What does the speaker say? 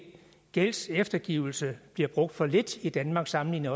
gældseftergivelse bliver brugt for lidt i danmark sammenlignet